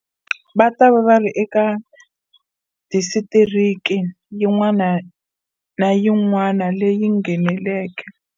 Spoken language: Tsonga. Va ta va va ri eka disitiriki yin'wana na yin'wana leyi ngheneleke